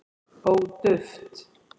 ó duft